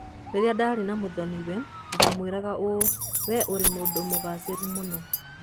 "Rĩrĩa ndaarĩ na mũthoni-we, ndaamwĩraga ũũ: 'Wee ũrĩ mũndũ mũgaacĩru mũno-ĩ!